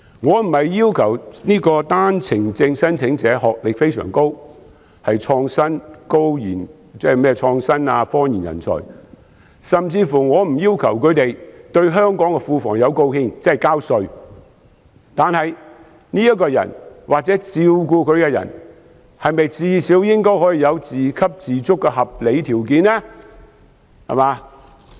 我並非要求單程證申請者的學歷要非常高，是創新科研人才，甚至我不要求他們對香港的庫房有貢獻，但是，這個人或照顧他的人是否最少應該有自給自足的合理條件？